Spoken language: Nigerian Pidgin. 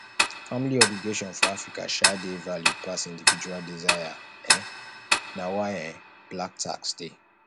family obligation for africa um dey valued pass individual desire um na why um black tax dey